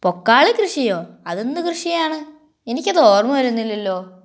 പൊക്കാള കൃഷിയോ അതൊന്നും കൃഷിയാണ് എനിക്കത് ഓർമ്മ വരുന്നില്ലല്ലോ